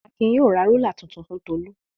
Akin yóò ra rúlà tuntun fún Tolú.